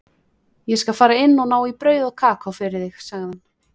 Ég skal fara inn og ná í brauð og kakó fyrir þig, sagði hann.